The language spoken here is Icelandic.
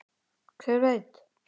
Hver veit